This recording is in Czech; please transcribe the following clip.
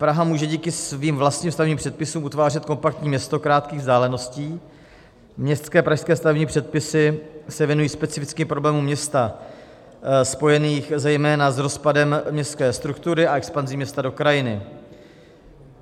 Praha může díky svým vlastním stavebním předpisům utvářet kompaktní město krátkých vzdáleností, městské pražské stavební předpisy se věnují specifickým problémům města spojeným zejména s rozpadem městské struktury a expanzí města do krajiny.